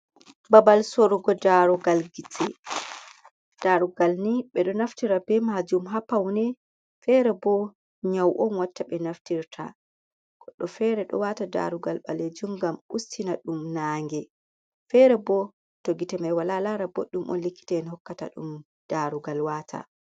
Babal sorugo gite, darugal ni ɓeɗo naftira be majum ha paune fere bo nyau’on watta be naftirta. Goɗɗo fere ɗo wata darugal ɓalejum ngam ustina ɗum nange fere bo to gite mai wala lara boɗɗum on likita en hokkata ɗum darugal wata.